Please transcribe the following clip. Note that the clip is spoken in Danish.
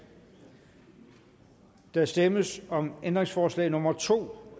der stemmes om ændringsforslag nummer to